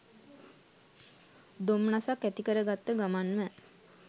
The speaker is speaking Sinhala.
දොම්නසක් ඇති කරගත්ත ගමන්ම